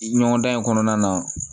Ɲɔgɔndan in kɔnɔna na